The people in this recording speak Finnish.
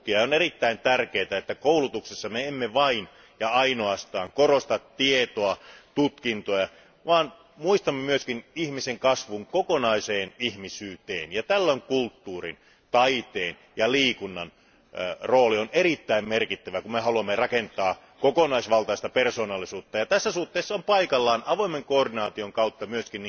On erittäin tärkeätä, että koulutuksessa ei vain ja ainoastaan korosteta tietoa ja tutkintoa, vaan muistetaan myös ihmisen kasvu kokonaiseen ihmisyyteen. Kulttuurin, taiteen ja liikunnan rooli on erittäin merkittävä, kun halutaan rakentaa kokonaisvaltaista persoonallisuutta. Tässä suhteessa on paikallaan avoimen koordinaation kautta myös